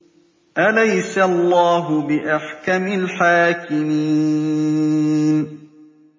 أَلَيْسَ اللَّهُ بِأَحْكَمِ الْحَاكِمِينَ